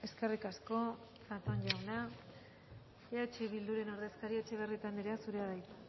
eskerrik asko zatón jauna eh bilduren ordezkaria etxebarrieta anderea zurea da hitza